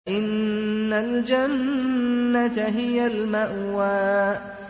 فَإِنَّ الْجَنَّةَ هِيَ الْمَأْوَىٰ